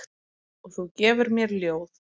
Og þú gefur mér ljóð.